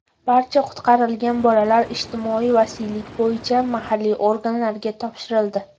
Barcha qutqarilgan bolalar ijtimoiy vasiylik bo‘yicha mahalliy organlarga topshirildi.